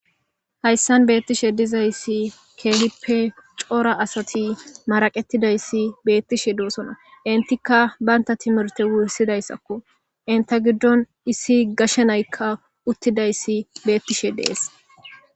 Hayssan beettishe dizayssi keelippe coora asati maraqettidayssi beettishe doosona intikka baynta timirte wursidayssakko inta giddon issi gashenaykka uttidayssi beettishe dees.